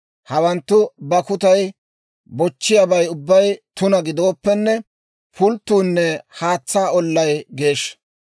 Hawanttu bakkutay bochchiyaabay ubbay tuna gidooppenne, pulttuunne haatsaa ollay geeshsha.